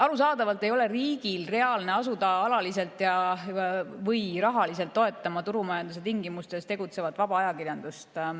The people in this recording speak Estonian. Arusaadavalt ei ole riigil reaalne asuda alaliselt rahaliselt toetama turumajanduse tingimustes tegutsevat vaba ajakirjandust.